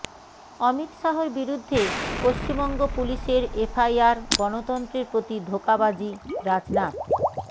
অমিত শাহর বিরুদ্ধে পশ্চিমবঙ্গ পুলিশের এফআইআর গণতন্ত্ৰের প্ৰতি ধোঁকাবাজিঃ রাজনাথ